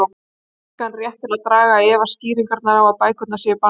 Ég hef engan rétt til að draga í efa skýringarnar á að bækur séu bannaðar.